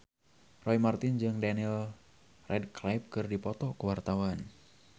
Roy Marten jeung Daniel Radcliffe keur dipoto ku wartawan